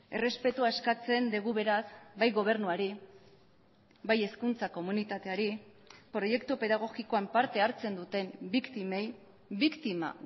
errespetua eskatzen dugu beraz bai gobernuari bai hezkuntza komunitateari proiektu pedagogikoan parte hartzen duten biktimei biktima